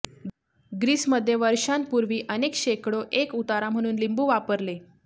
Greece मध्ये वर्षांपूर्वी अनेक शेकडो एक उतारा म्हणून लिंबू वापरले